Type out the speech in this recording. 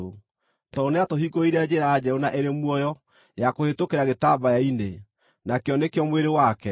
tondũ nĩatũhingũrĩire njĩra njerũ na ĩrĩ muoyo ya kũhĩtũkĩra gĩtambaya-inĩ, nakĩo nĩkĩo mwĩrĩ wake,